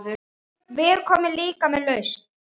Við komum líka með lausn.